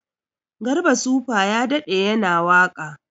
Garba supa ya daɗe yana waka